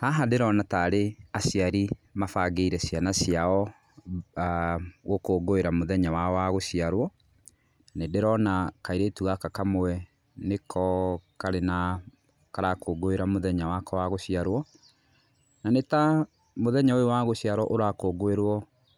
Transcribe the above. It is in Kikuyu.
Haha ndĩrona tarĩ aciari mabangĩire ciana ciao, gũkũngũĩra mũthanya wao wa gũciarwo, nĩ ndĩrona kairĩtu gaka kamwe nĩko karĩ na, karakũngũĩra mũthenya wako wa gũciarwo. Na nĩ ta mũthenya ũyũ wa gũciarwo ũrakũngũĩrwo